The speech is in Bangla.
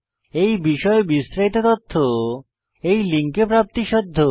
এই বিষয়ে বিস্তারিত তথ্য এই লিঙ্কে প্রাপ্তিসাধ্য